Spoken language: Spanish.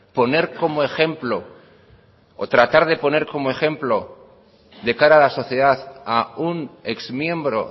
poner como ejemplo o tratar de poner como ejemplo de cara a la sociedad a un exmiembro